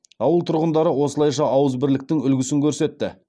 ауыл тұрғындары осылайша ауызбірліктің үлгісін көрсетті